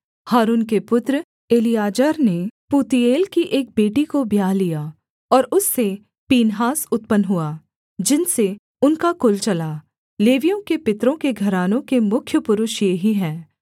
हारून के पुत्र एलीआजर ने पूतीएल की एक बेटी को ब्याह लिया और उससे पीनहास उत्पन्न हुआ जिनसे उनका कुल चला लेवियों के पितरों के घरानों के मुख्य पुरुष ये ही हैं